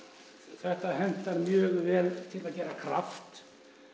þetta hentar mjög vel til þess að gera kraft